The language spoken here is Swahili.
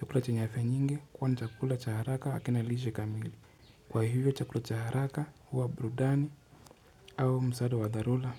chakula chenye ladha nyingi kwa ni chakula cha haraka na kina lishe kamili. Kwa hivyo chakula cha haraka huwa burudani au msaada wa dharura.